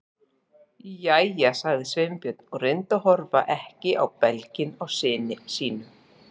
Jæja- sagði Sveinbjörn og reyndi að horfa ekki á belginn á syni sínum.